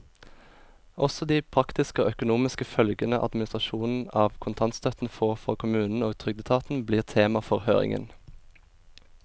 Også de praktiske og økonomiske følgene administrasjonen av kontantstøtten får for kommunene og trygdeetaten, blir tema for høringen.